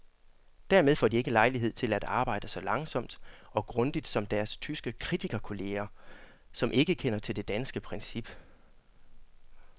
Dermed får de ikke lejlighed til at arbejde så langsomt og grundigt som deres tyske kritikerkolleger, som ikke kender til det danske princip.